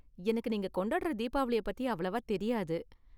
எனக்கு நீங்க கொண்டாடுற தீபாவளிய பத்தி அவ்வளவா தெரியாது.